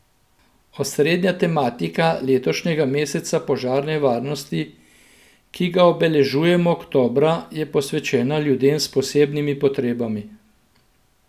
Osrednja tematika letošnjega meseca požarne varnosti, ki ga obeležujemo oktobra, je posvečena ljudem s posebnimi potrebami.